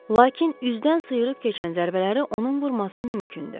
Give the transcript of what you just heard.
Lakin üzdən sıyırıb keçən zərbələri onun vurması mümkündür.